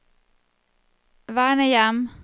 vernehjem